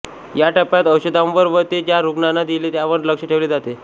या टप्प्यात औषधांवर व ते ज्या रुग्णांना दिले त्यांवर लक्ष ठेवले जाते